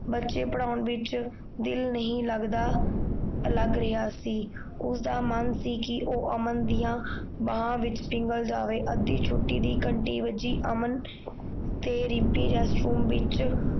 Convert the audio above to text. ਬੱਚੇ ਪੜ੍ਹਾਉਣ ਵਿੱਚ ਦਿਲ ਨਹੀਂ ਲੱਗਦਾ ਲੱਗ ਰਿਹਾ ਸੀ ਉਸ ਦਾ ਮਨ ਸੀ ਕੀ ਉਹ ਅਮਨ ਦੀਆਂ ਬਾਹਾਂ ਵਿੱਚ ਜਾਵੇ ਅੱਧੀ ਛੁੱਟੀ ਦੀ ਘੰਟੀ ਵੱਜੀ ਅਮਨ ਤੇ ਰਿਮਪੀ ਰੈਸਟਰੂਮ ਵਿੱਚ